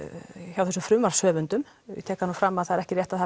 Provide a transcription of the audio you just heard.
hjá þessum frumvarpshöfundum ég tek það nú fram að það er ekki rétt að